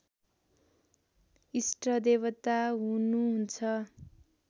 इष्टदेवता हुनु हुन्छ